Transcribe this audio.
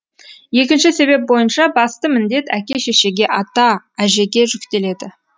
екінші себеп бойынша басты міндет әке шешеге ата әжеге жүктеледі